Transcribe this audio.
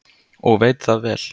Og veit það vel.